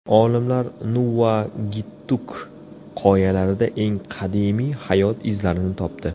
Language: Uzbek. Olimlar Nuvvuagittuk qoyalarida eng qadimiy hayot izlarini topdi.